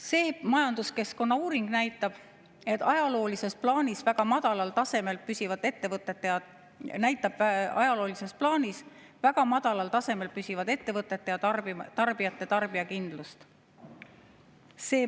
See majanduskeskkonnauuring näitab ajaloolises plaanis väga madalal tasemel püsivat ettevõtete ja tarbijate tarbijakindlust.